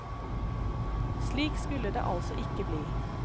Slik skulle det altså ikke bli.